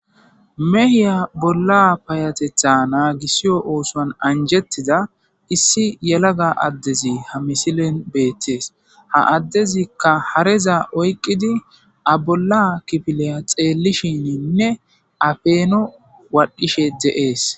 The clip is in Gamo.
Mehiya bolla payatetha naagisiyo oosoan anjettiza issi yelaga addezi ha misilen beettees ha addezikka hareza oyqidi a bolla kifileya xeellishininne afeeno waadhdhishe de7ees